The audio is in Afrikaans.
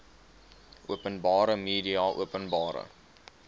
openbare media openbare